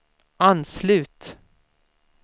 anslut